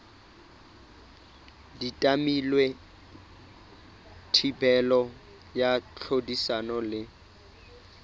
tadimilwe thibelo ya tlhodisano le